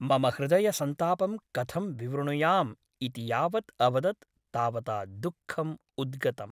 मम हृदयसन्तापं कथं विवृणुयाम् इति यावत् अवदत् तावता दुःखम् उद्गतम् ।